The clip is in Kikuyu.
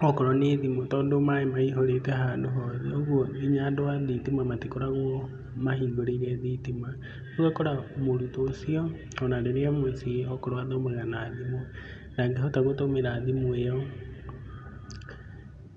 okorwo nĩ thimũ tondũ maĩ maihũrĩte handũ hothe, ũguo nginya andũ a thitima matikoragwo mahingũrĩire thitima, rĩu ũgakora mũrutwo ũcio ona rĩrĩa e mũciĩ okorwo athomaga na thimũ, ndangĩhota gũtũmĩra thimũ ĩyo.